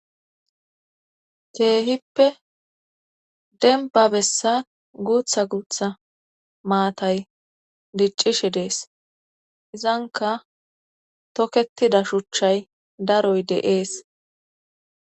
keehippe denba bessa guutha guutha maatay diccishe dees izanka toketida shuchchay daroy deees